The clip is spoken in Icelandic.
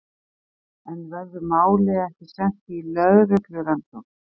En verður málið ekki sent í lögreglurannsókn?